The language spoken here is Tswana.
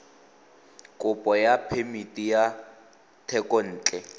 kopo ya phemiti ya thekontle